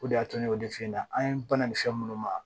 O de y'a to ne y'o de f'i ɲɛna an banana nin fɛn minnu ma